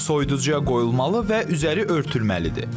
Soyuducuya qoyulmalı və üzəri örtülməlidir.